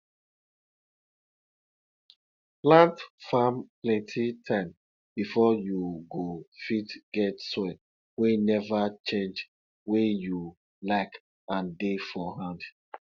plant farm plenti time before you go fit get soil wey neva change wey you like and dey for hand